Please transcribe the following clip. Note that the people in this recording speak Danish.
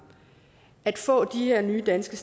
at få de her nye danske